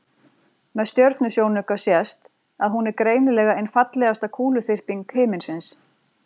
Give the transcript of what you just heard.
Með stjörnusjónauka sést að hún er greinilega ein fallegasta kúluþyrping himinsins.